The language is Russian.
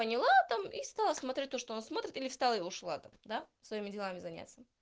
поняла там и стала смотреть то что он смотрит или встала и ушла там да своими делами заняться